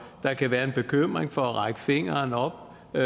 der kan være en bekymring for at række fingeren op og